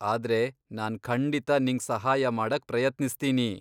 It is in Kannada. ಆದ್ರೆ ನಾನ್ ಖಂಡಿತಾ ನಿಂಗ್ ಸಹಾಯ ಮಾಡಕ್ ಪ್ರಯತ್ನಿಸ್ತೀನಿ.